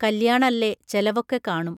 കല്ല്യാണല്ലേ ചെലവൊക്കെ കാണും